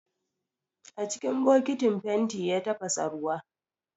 A cikin bokitin fenti ya tafasa ruwa